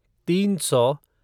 तीन सौ